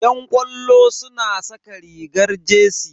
Yan ƙwallo suna saka rigar jersey.